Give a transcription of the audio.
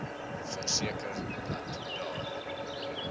verseker dat daar